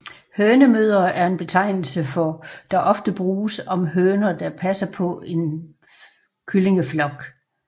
Hønemødre er en betegnelse der ofte bruges om høner der passer på en kyllingeflok